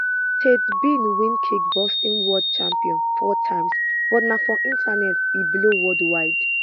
tate bin win kickboxing world champion four times but na for internet e blow worldwide